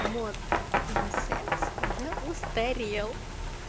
мод на секс уже устарел